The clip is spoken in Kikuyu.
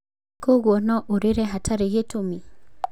Koguo no ũrĩre hatarĩ gĩtũmi.